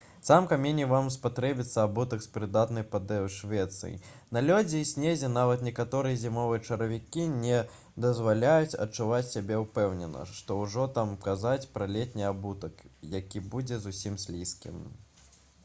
сама меней вам спатрэбіцца абутак з прыдатнай падэшвай на лёдзе і снезе нават некаторыя зімовыя чаравікі не дазваляюць адчуваць сябе ўпэўнена што ўжо там казаць пра летні абутак які будзе зусім слізкім